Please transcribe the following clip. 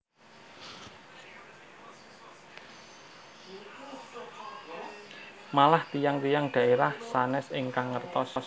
Malah tiyang tiyang dhaerah sanes ingkang ngertos